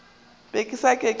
be ke sa ke ke